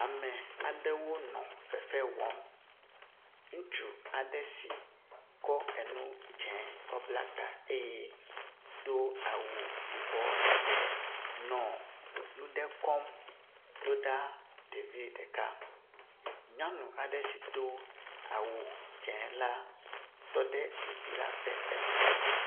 Ame aɖewo nɔ fefe wƒm. Ŋutsu aɖe si kɔ enu dze kɔ bla ta eye do awu yibɔ lebe nɔ nu ɖe kɔm ɖo ɖa ɖevi ɖeka. Nyɔnu aɖe si do awu dze la tɔ ɖe ɖevi la ƒe megbe.